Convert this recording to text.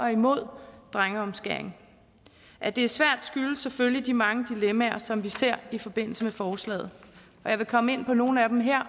er imod drengeomskæring at det er svært skyldes selvfølgelig de mange dilemmaer som vi ser i forbindelse med forslaget og jeg vil komme ind på nogle af dem her